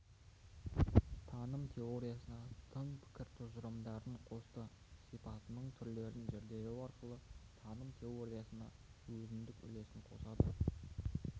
таным теориясына тың пікір тұжырымдарын қосты сипатының түрлерін зерделеу арқылы таным теориясына өзіндік үлесін қосады